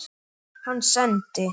Hann sendi